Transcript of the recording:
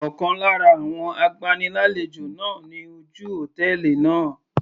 Ọ̀kan lára àwọn agbani lálejò náà ni ojú hòtẹ́ẹ̀lì náà.